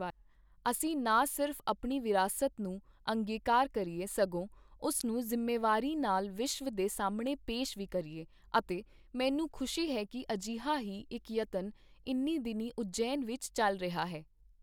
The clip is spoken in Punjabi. ਅਸੀਂ ਨਾ ਸਿਰਫ਼ ਆਪਣੀ ਵਿਰਾਸਤ ਨੂੰ ਅੰਗੀਕਾਰ ਕਰੀਏ, ਸਗੋਂ ਉਸ ਨੂੰ ਜ਼ਿੰਮੇਵਾਰੀ ਨਾਲ ਵਿਸ਼ਵ ਦੇ ਸਾਹਮਣੇ ਪੇਸ਼ ਵੀ ਕਰੀਏ ਅਤੇ ਮੈਨੂੰ ਖੁਸ਼ੀ ਹੈ ਕਿ ਅਜਿਹਾ ਹੀ ਇੱਕ ਯਤਨ ਇਨ੍ਹੀਂ ਦਿਨੀਂ ਉਜੈਨ ਵਿੱਚ ਚਲ ਰਿਹਾ ਹੈ।